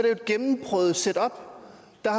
jo et gennemprøvet setup der